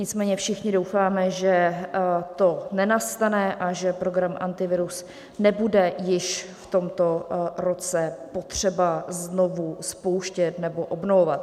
Nicméně všichni doufáme, že to nenastane a že program Antivirus nebude již v tomto roce potřeba znovu spouštět nebo obnovovat.